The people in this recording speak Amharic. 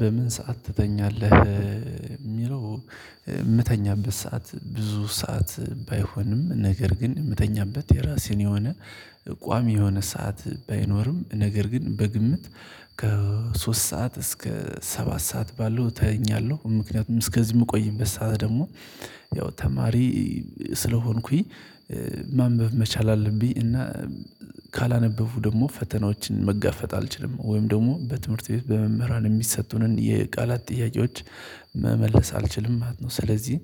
በምን ሰዓት ትተኛለህ የሚለው የምተኛበት ሰዓት ብዙ ሰዓት ባይሆንም ነገር ግን የምተኛበት የራሴን የሆነ ቋሚ የሆነ ሰዓት ባይኖርም ነገር ግን በግምት ከሶስት ሰዓት እስከ ሰባት ሰዓት ባለው ተኛለሁ ምክንያቱም እስከዚህ የምቆይበት ሰዓት ደግሞ ያው ተማሪ ስለሆንኩኝ ማንበብ መቻል አለብኝ እና ካላነበብሁ ደግሞ ፈተናዎችን መጋፈጥ አልችልም ወይም ደግሞ በትምህርት ቤት በመምህራን የሚሰጡንን የቃላት ጥያቄዎች መመለስ አልችልም ማለት ነው ስለዚህ